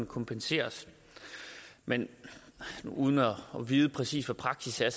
kompenseres men uden at vide præcis hvad praksis er